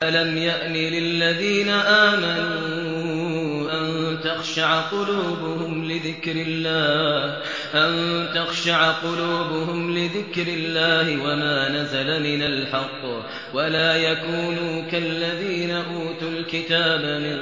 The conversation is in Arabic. ۞ أَلَمْ يَأْنِ لِلَّذِينَ آمَنُوا أَن تَخْشَعَ قُلُوبُهُمْ لِذِكْرِ اللَّهِ وَمَا نَزَلَ مِنَ الْحَقِّ وَلَا يَكُونُوا كَالَّذِينَ أُوتُوا الْكِتَابَ مِن